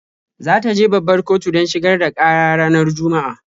Za ta je babbar kotu don shigar da ƙara ranar Juma'a.